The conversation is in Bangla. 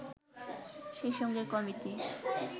সেই সঙ্গে কমিটি